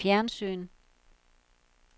fjernsyn